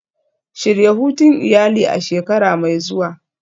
Shirya hutun iyali a shekara mai zuwa.